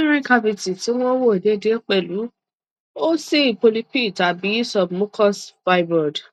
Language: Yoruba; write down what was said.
uterine cavity ti wọn wo deedee pẹ̀lu ti o si polyp tabi submucous fibroid